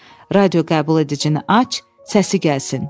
Radioqəbuledicini aç, səsi gəlsin.